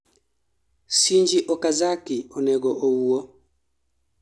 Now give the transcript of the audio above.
shinji okazaki onego owuo